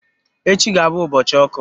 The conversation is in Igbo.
Echi ga-abụ ụbọchị ọkụ.